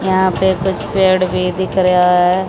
यहां पे कुछ पेड़ भी दिख रेया है।